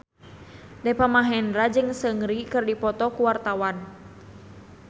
Deva Mahendra jeung Seungri keur dipoto ku wartawan